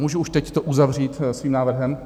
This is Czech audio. Můžu už teď to uzavřít svým návrhem?